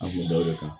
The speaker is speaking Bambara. An kun da o de kan